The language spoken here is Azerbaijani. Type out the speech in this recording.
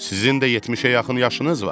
Sizin də 70-ə yaxın yaşınız var.